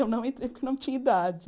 Eu não entrei porque eu não tinha idade.